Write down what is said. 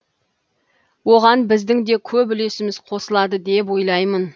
оған біздің де көп үлесіміз қосылады деп ойлаймын